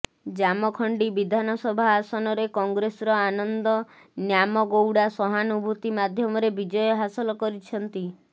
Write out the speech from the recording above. ଜାମଖଣ୍ଡି ବିଧାନସଭା ଆସନରେ କଂଗ୍ରେସର ଆନନ୍ଦ ନ୍ୟାମଗୌଡ଼ା ସହାନୁଭୂତି ମାଧ୍ୟମରେ ବିଜୟ ହାସଲ କରିଛନ୍ତି